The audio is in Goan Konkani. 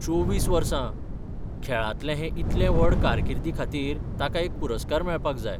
चोवीस वर्सां.. खेळांतले हे इतले व्हड कारकिर्दीखातीर ताका एक पुरस्कार मेळपाक जाय.